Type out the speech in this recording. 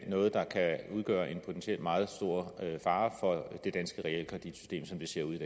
noget der kan udgøre en potentielt meget stor fare for det danske realkreditsystem som det ser ud